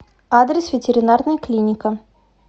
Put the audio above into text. адрес ветеринарная клиника